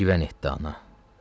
nə şivən etdi ana.